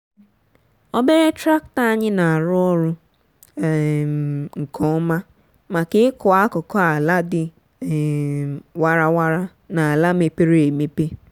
obere traktọ anyị na-arụ ọrụ um nke ọma maka ịkọ akụkụ ala dị um warara na ala mepere emepe.